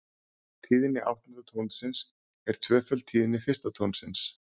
Tíðni áttunda tónsins er tvöföld tíðni fyrsta tónsins.